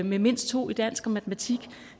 med mindst to i dansk og matematik